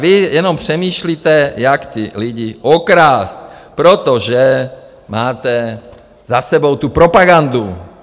Vy jenom přemýšlíte, jak ty lidi okrást, protože máte za sebou tu propagandu.